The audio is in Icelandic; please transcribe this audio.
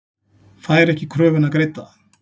Fær ekki kröfuna greidda